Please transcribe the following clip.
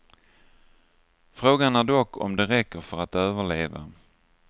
Frågan är dock om det räcker för att överleva.